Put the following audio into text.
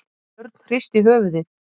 Örn hristi höfuðið.